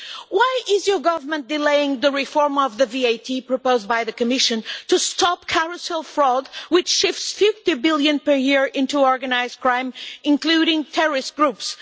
Why is your Government delaying the VAT reform proposed by the Commission to stop carousel fraud, which shifts EUR 50 billion per year into organised crime, including terrorist groups?